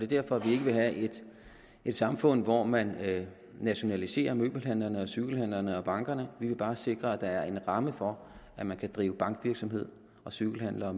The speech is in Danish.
derfor vi ikke vil have et samfund hvor man nationaliserer møbelhandlerne og cykelhandlerne og bankerne vi vil bare sikre at der er en ramme for at man kan drive bankvirksomhed og cykelhandler